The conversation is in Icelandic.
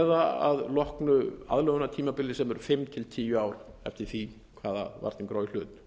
eða að loknu aðlögunartímabili sem eru fimm til tíu ár eftir því hvaða varningur á í hlut